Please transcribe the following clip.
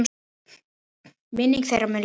Minning þeirra mun lifa.